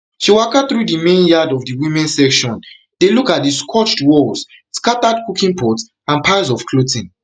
she waka through di main yard of di women section dey look at di scorched walls scattered cooking pots and piles of clothing